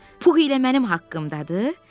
Pux ilə mənim haqqımdadır?